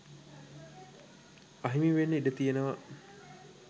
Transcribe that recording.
අහිමිවෙන්න ඉඩ තියෙනවා